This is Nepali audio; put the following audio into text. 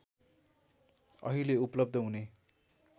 अहिले उपलब्ध हुने